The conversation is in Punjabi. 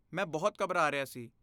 ਮੈਂ ਬਹੁਤ ਘਬਰਾ ਰਿਹਾ ਸੀ।